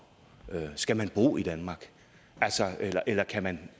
skal man bo i danmark eller kan man